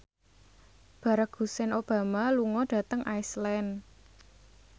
Barack Hussein Obama lunga dhateng Iceland